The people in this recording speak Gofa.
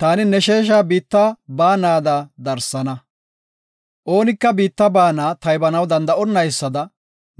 Taani ne sheesha biitta baanada darsana. Oonika biitta baana taybanaw danda7onaysada